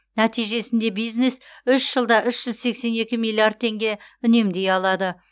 нәтижесінде бизнес үш жылда үш жүз сексен екі миллиард теңге үнемдей алады